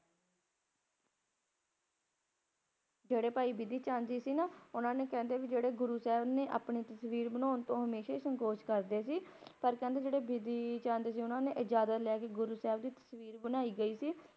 ਜਿਹੜੇ ਭਾਈ ਬਿਧੀ ਚੰਦ ਜੀ ਸੀ ਨਾ ਉਹਨਾਂ ਨੇ ਕਹਿੰਦੇ ਵੀ ਗੁਰੂ ਸਾਹਿਬ ਨੇ ਆਪਣੀ ਤਸਵੀਰ ਬਣਾਣ ਨੂੰ ਹਮੇਸ਼ਾ ਹੀ ਸੰਕੋਚ ਕਰਦੇ ਸੀ ਪਰ ਜਿਹੜੇ ਭਾਈ ਬਿਧੀ ਚੰਦ ਜੀ, ਉਨ੍ਹਾਂ ਨੇ ਗੁਰੂ ਸਾਹਿਬ ਤੋਂ ਇਜਾਜ਼ਤ ਲੈ ਕੇ ਉਨ੍ਹਾਂ ਦੀ ਤਸਵੀਰ ਬਣਵਾਈ ਗਈ ਸੀ।